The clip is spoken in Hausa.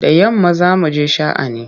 Da yamma za mu je sha'ani.